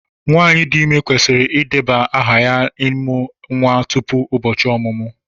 Nwanyị dị ime kwesịrị ịdebanye aha maka ịmụ nwa tupu ụbọchị ọmụmụ.